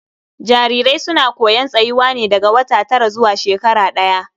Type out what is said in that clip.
Jarirai suna koyon tsayuwa ne daga wata tara zuwa shekara ɗaya.